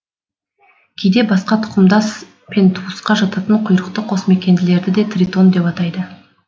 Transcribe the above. кейде басқа тұқымдас пен туысқа жататын құйрықты қосмекенділерді де тритон деп атайды